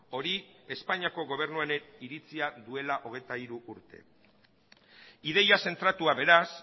hori espainiako gobernu honek iritzia duela hogeita hiru urte ideia zentratua beraz